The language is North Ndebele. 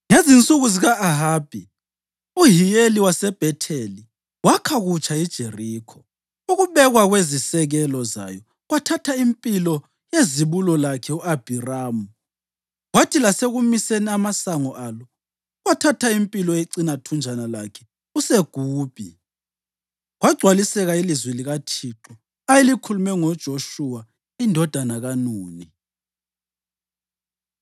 Ngezinsuku zika-Ahabi uHiyeli waseBhetheli wakha kutsha iJerikho. Ukubekwa kwezisekelo zayo kwathatha impilo yezibulo lakhe u-Abhiramu kwathi lasekumiseni amasango alo kwathatha impilo yecinathunjana lakhe uSegubi, kwagcwaliseka ilizwi likaThixo ayelikhulume ngoJoshuwa indodana kaNuni.